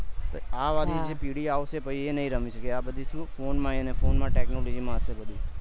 આ વાર ની પેઢી આવશે એ નહી રમી સકે એ બધું સુ ફોન માં અને ફોન માં technology માં હશે બધી